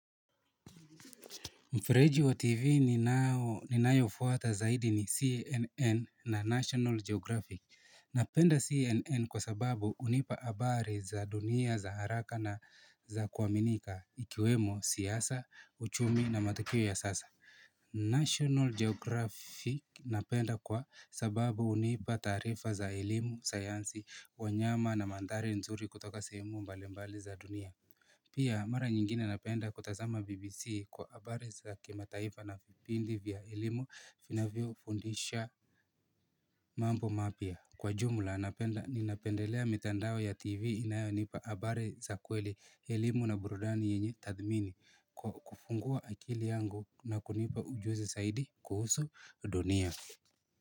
Mfereji wa TV ninayofuata zaidi ni CNN na National Geographic. Napenda CNN kwa sababu hunipa habari za dunia za haraka na za kuaminika ikiwemo siasa, uchumi na matukio ya sasa. National Geographic napenda kwa sababu hunipa taarifa za elimu, sayansi, wanyama na mandhari nzuri kutoka sehemu mbali mbali za dunia. Pia, mara nyingine napenda kutazama BBC kwa habari za kimataifa na vipindi vya elimu vinavyofundisha mambo mapya. Kwa jumla, napenda ninapendelea mitandao ya TV inayonipa habari za kweli elimu na burudani yenye tadhmini kwa kufungua akili yangu na kunipa ujuzi zaidi kuhusu dunia.